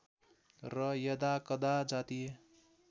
र यदाकदा जातीय